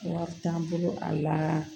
Wari t'an bolo a la